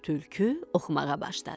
Tülkü oxumağa başladı.